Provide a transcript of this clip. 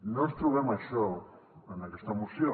no ens trobem això en aquesta moció